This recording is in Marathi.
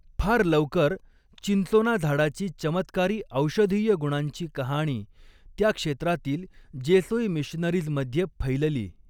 फार लवकर, चिंचोना झाडाची चमत्कारी औषधीय गुणांची कहाणी त्या क्षेत्रातील जेसूई मिशनरीज मधे फैलली.